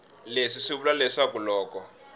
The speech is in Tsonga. leswi swi vula leswaku loko